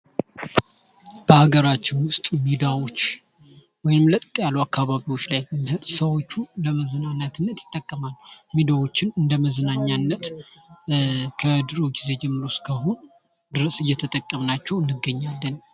በአገራችን ዉስጥ ሜዳዎች ወይም ለጥ ያሉ አካባቂዎች ላይ ሰዎቹ ለመዝናናት እንጠቀምበታለን። ሜዳዎቹን እንደ መዝናኛነት ከድሮ ጀምሮ ጊዜ እስከ አሁን እየተጠቀምናቸዉ እንገኛለን።